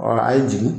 a ye jigin